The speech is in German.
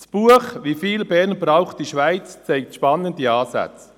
Das Buch «Wie viel Bern braucht die Schweiz?» zeigt spannende Ansätze.